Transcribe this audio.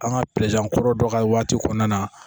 An ka kɔrɔ dɔ ka waati kɔnɔna na